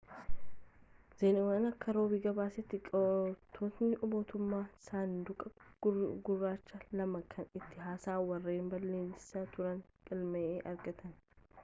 zheenuwaan akka roobi gabaasetti qoraatootni motummaan saanduqi gurraachi' lama kan ittin haasaan warreen balalisaa turaanii galma'ee argaatan